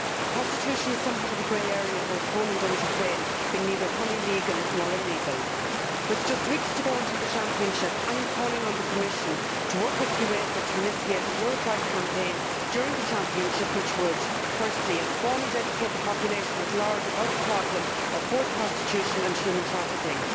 Prostitution is something of a grey area in both Poland and Ukraine, being neither fully legal nor illegal. With just weeks to go until the championship, I am calling on the Commission to work with UEFA to initiate a Europe wide campaign, during the championship, which would, first and foremost, educate the population at large about the problem of forced prostitution and human trafficking